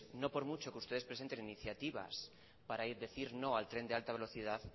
no por mucho que ustedes presenten iniciativas para decir no al tren de alta velocidad